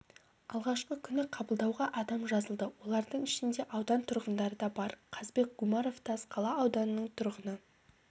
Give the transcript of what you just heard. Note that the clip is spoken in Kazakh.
алғашқы күні қабылдауға адам жазылды олардың ішінде аудан тұрғындары да бар қазбек гумаров тасқала ауданының тұрғыны